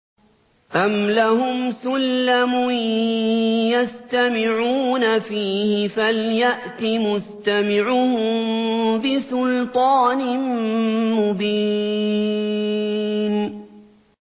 أَمْ لَهُمْ سُلَّمٌ يَسْتَمِعُونَ فِيهِ ۖ فَلْيَأْتِ مُسْتَمِعُهُم بِسُلْطَانٍ مُّبِينٍ